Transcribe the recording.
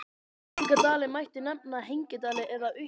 Slíka dali mætti nefna hengidali eða uppdali.